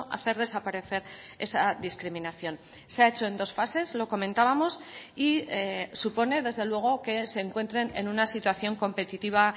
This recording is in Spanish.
hacer desaparecer esa discriminación se ha hecho en dos fases lo comentábamos y supone desde luego que se encuentren en una situación competitiva